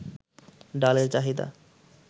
ডালের চাহিদা